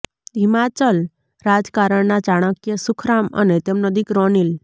હિમાચલ રાજકારણના ચાણક્ય સુખરામ અને તેમનો દિકરો અનિલ